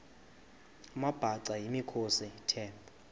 amabhaca yimikhosi the